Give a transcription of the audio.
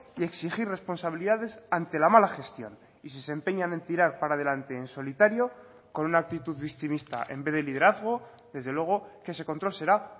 y exigir responsabilidades ante la mala gestión y si se empeñan en tirar para adelante en solitario con una actitud victimista en vez de liderazgo desde luego que ese control será